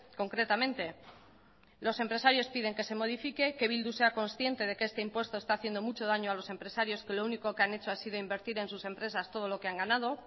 concretamente los empresarios piden que se modifique que bildu sea consciente de que este impuesto está haciendo mucho daño a los empresarios que lo único que han hecho ha sido invertir en sus empresas todo lo que han ganado